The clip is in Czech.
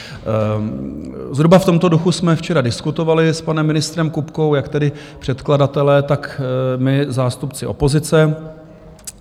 Zhruba v tomto duchu jsme včera diskutovali s panem ministrem Kupkou, jak tedy předkladatelé, tak my, zástupci opozice.